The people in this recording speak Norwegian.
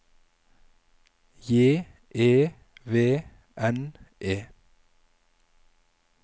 J E V N E